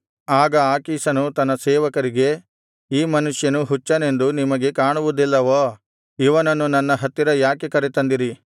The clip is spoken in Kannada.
ಆಗ ಆಕೀಷನು ತನ್ನ ಸೇವಕರಿಗೆ ಈ ಮನುಷ್ಯನು ಹುಚ್ಚನೆಂದು ನಿಮಗೆ ಕಾಣುವುದಿಲ್ಲವೋ ಇವನನ್ನು ನನ್ನ ಹತ್ತಿರ ಯಾಕೆ ಕರೆತಂದಿರಿ